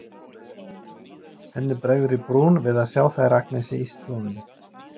Henni bregður í brún við að sjá þær Agnesi í stofunni.